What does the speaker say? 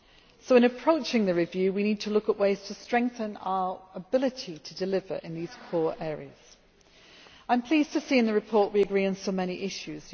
So in approaching the review, we need to look at ways to strengthen our ability to deliver in these core areas. I am pleased to see in the report that we agree on so many issues.